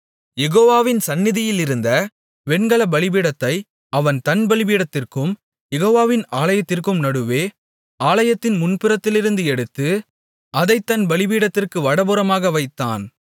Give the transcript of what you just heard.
யெகோவாவின் சந்நிதியிலிருந்த வெண்கலப் பலிபீடத்தை அவன் தன் பலிபீடத்திற்கும் யெகோவாவின் ஆலயத்திற்கும் நடுவே ஆலயத்தின் முன்புறத்திலிருந்து எடுத்து அதைத் தன் பலிபீடத்திற்கு வடபுறமாக வைத்தான்